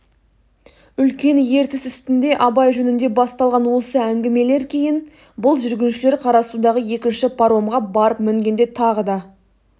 үлкен ертіс үстінде абай жөнінде басталған осы әңгімелер кейін бұл жүргіншілер қарасудағы екінші паромға барып мінгенде тағы да